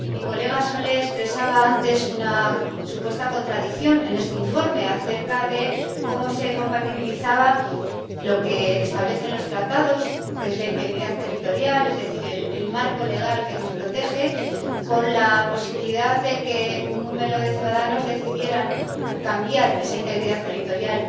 El señor Solé expresaba antes una supuesta contradicción en este informe acerca de cómo se compatibilizaba lo que establecen los tratados, que es la integridad territorial, es decir, el marco legal que nos protege, con la posibilidad de que un número de ciudadanos decidiera cambiar esa integridad territorial.